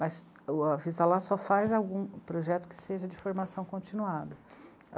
Mas o Avisalá só faz algum projeto que seja de formação continuada.